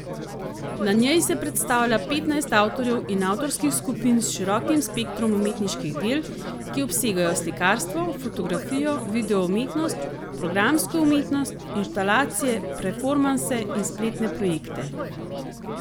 Na njej se predstavlja petnajst avtorjev in avtorskih skupin s širokim spektrom umetniških del, ki obsegajo slikarstvo, fotografijo, videoumetnost, programsko umetnost, instalacije, performanse in spletne projekte.